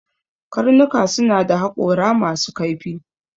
Dogs have sharp teeth